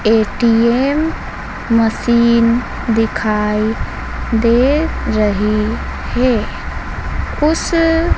ATM machine दिखाई दे रही है उस--